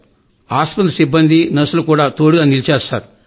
ఆస్పత్రి సిబ్బంది నర్సులు మాకు తోడుగా నిలిచారు సార్